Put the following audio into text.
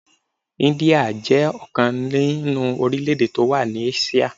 India jẹ́ ọ̀kan nínú orílè-èdè tó wà ní Áṣíà.